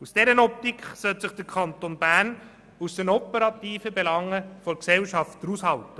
Aus dieser Optik sollte sich der Kanton Bern aus den operativen Belangen des Unternehmens raushalten.